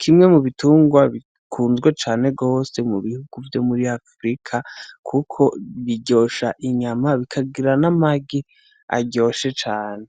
kimwe mu bitungwa bikunzwe cane gose mu bihugu vyo muri afurika, kuko iryosha inyama bikagira n'amagi aryoshe cane.